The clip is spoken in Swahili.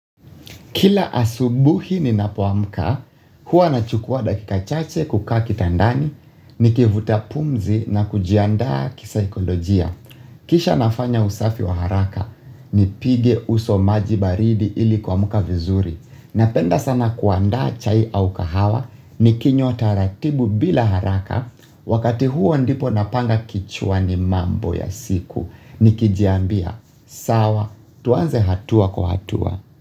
Kila asubuhi ninapoamka, huwa nachukuwa dakika chache kukaa kitandani, nikivuta pumzi na kujiandaa kisaikolojia. Kisha nafanya usafi wa haraka, nipige uso maji baridi ili kuamka vizuri. Napenda sana kuanda chai au kahawa, nikinywa taratibu bila haraka, wakati huo ndipo napanga kichwani mambo ya siku. Nikijiambia, sawa, tuanze hatua kwa hatua.